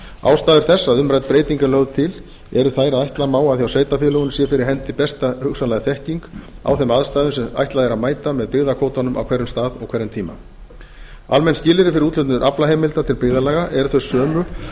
ástæður þess að umrædd breyting er lögð til eru þær að ætla má að hjá sveitarfélögunum sé fyrir hendi besta hugsanlega þekking á þeim aðstæðum sem ætlað er að mæta með byggðakvótanum á hverjum stað og hverjum tíma almenn skilyrði fyrir úthlutun aflaheimilda til byggðarlaga eru þau sömu